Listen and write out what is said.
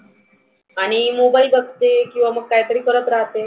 आणि mobile बघते, किंवा मग काहीतरी करत राहते.